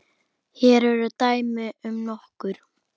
Hér eru dæmi um nokkur